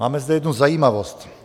Máme zde jednu zajímavost.